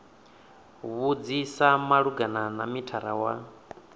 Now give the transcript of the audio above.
vhudzisa malugana na mithara wa